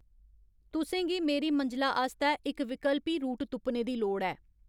तुसें गी मेरी मंजला आस्तै इक विकल्पी रूट तुप्पने दी लोड़ ऐ